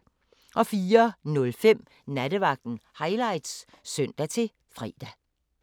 04:05: Nattevagten Highlights (søn-fre)